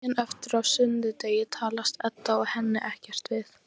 Daginn eftir, á sunnudegi, talast Edda og Hemmi ekkert við.